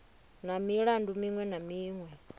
na milandu miṅwe na miṅwe